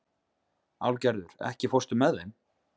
Álfgerður, ekki fórstu með þeim?